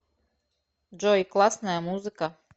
джой классная музыка